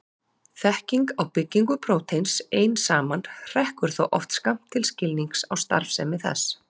Þekking á byggingu prótíns ein saman hrekkur þó oft skammt til skilnings á starfsemi þess.